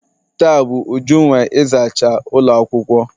Taa bu Uju nwe ịzacha ụlọ akwụkwọ.